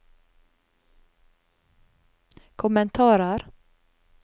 kommentarer